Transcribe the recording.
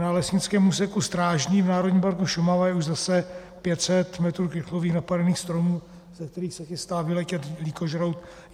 Na lesnickém úseku Strážný v Národním parku Šumava je už zase 500 metrů krychlových napadených stromů, ze kterých se chystá vyletět lýkožrout.